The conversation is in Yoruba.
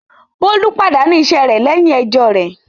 Bólú pàdánù iṣẹ́ rẹ̀ lẹ́yìn ẹjọ́ rẹ̀.